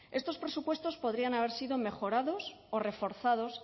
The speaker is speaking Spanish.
estos presupuestos podrían haber sido mejorados o reforzados